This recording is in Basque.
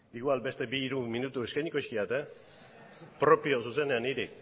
igual beste hiru minutu eskainiko dizkiat propio zuzenean hiri